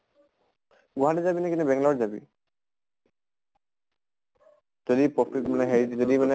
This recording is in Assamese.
গুৱাহাটী যাবি নেকি নে বেঙ্গালৰ যাবি? যদি প্ৰকৃত মানে হেৰি যদি